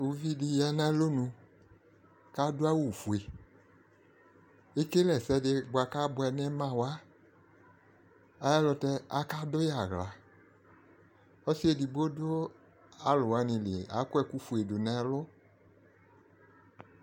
uvi di ya n'alɔnu k'ado awu fue ekele ɛsɛ di boa kò aboɛ no ima wa ay'ɛlutɛ aka do yi ala ɔse edigbo do alowani li akɔ ɛkòfue do n'ɛlu